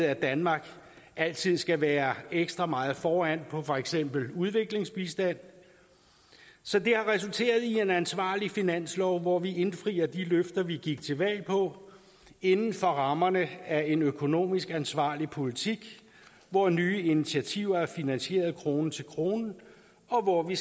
at danmark altid skal være ekstra meget foran på for eksempel udviklingsbistand så det har resulteret i en ansvarlig finanslov hvor vi indfrier de løfter vi gik til valg på inden for rammerne af en økonomisk ansvarlig politik hvor nye initiativer er finansieret krone til krone og hvor vi